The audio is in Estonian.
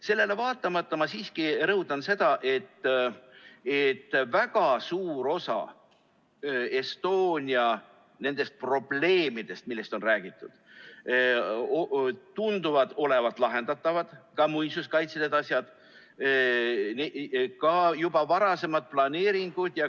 Sellele vaatamata ma siiski rõhutan seda, et väga suur osa Estonia probleemidest, millest on räägitud, tunduvad olevat lahendatavad, ka muinsuskaitselised asjad, ka juba varasemad planeeringud.